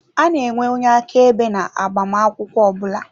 A na-enwe onye aka ebe na agbamakwụkwọ ọbula.